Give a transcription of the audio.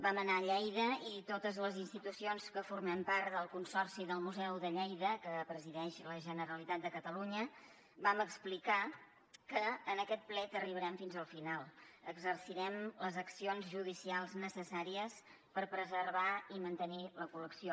vam anar a lleida i totes les institucions que formem part del consorci del museu de lleida que presideix la generalitat de catalunya vam explicar que en aquest plet arribarem fins al final exercirem les accions judicials necessàries per preservar i mantenir la col·lecció